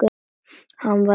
Hann var einn eftir.